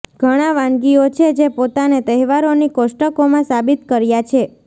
ઘણા વાનગીઓ છે જે પોતાને તહેવારોની કોષ્ટકોમાં સાબિત કર્યા છે